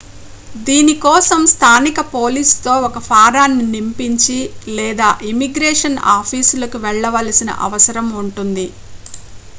దీని కోసం స్థానిక పోలీసుతో ఒక ఫారాన్ని నింపించి లేదా ఇమ్మిగ్రేషన్ ఆఫీసులకి వెళ్లవలసిన అవసరం ఉంటుంది